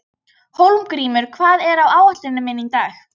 Hólmgrímur, hvað er á áætluninni minni í dag?